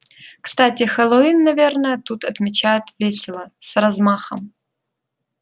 кстати хэллоуин наверное тут отмечают весело с размахом